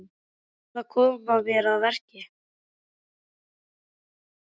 Ég verð að koma mér að verki.